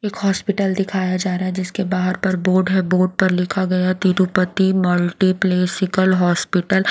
एक हॉस्पिटल दिखाया जा रहा है जिसके बाहर पर बोर्ड है बोर्ड पर लिखा गया तिरुपति मल्टीप्लेसिकल हॉस्पिटल --